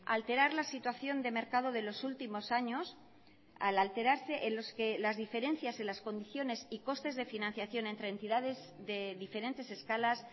alterar la situación de mercado de los últimos años al alterarse en los que las diferencias en las condiciones y costes de financiación entre entidades de diferentes escalas